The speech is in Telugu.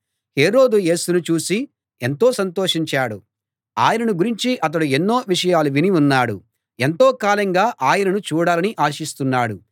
హేరోదు యేసును చూసి ఎంతో సంతోషించాడు ఆయనను గురించి అతడు ఎన్నో విషయాలు విని ఉన్నాడు ఎంతో కాలంగా ఆయనను చూడాలని ఆశిస్తున్నాడు ఆయన ఏదైనా ఒక అద్భుతం చేస్తే చూడాలని కూడా ఆశిస్తున్నాడు